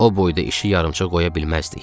O boyda işi yarımçıq qoya bilməzdik.